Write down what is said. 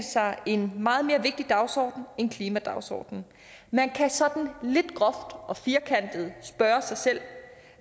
sig en meget mere vigtig dagsorden end klimadagsordenen man kan sådan lidt groft og firkantet spørge sig selv